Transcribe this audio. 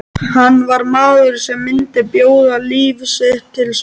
Hann var maður sem myndi bjóða líf sitt til sölu.